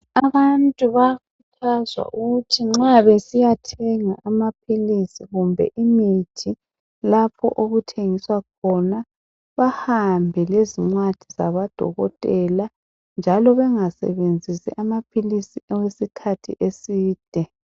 Abantu bayakhuthazwa ukuthi nxa besiyathenga amapilizi kumbe imithi lapho okuthengiswa khona bahambe lezincwadi zakadokothela njalo bengasebenzisi amapilizi okwesikhathi eside.